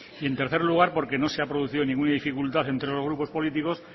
y en tercer lugar porque no se ha producido ninguna dificultad entre los grupos políticos